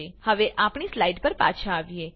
હવે આપણી સ્લાઈડ પર પાછા આવીએ